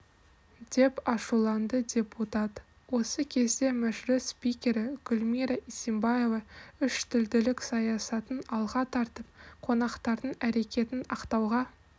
деп ашуланды депутат осы кезде мәжіліс спикері гүлмира исимбаева үштілділік саясатын алға тартып қонақтардың әрекетін ақтауға